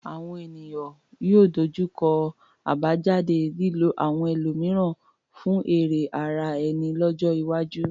Àwọn ènìyàn yóò dojú kọ àbájáde lílo àwọn ẹlòmíràn fún èrè ara ẹni lọ́jọ́ iwájú.